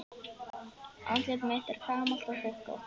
Andlit mitt er gamalt og hrukkótt.